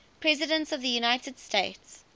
presidents of the united states